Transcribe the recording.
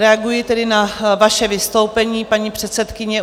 Reaguji tedy na vaše vystoupení, paní předsedkyně.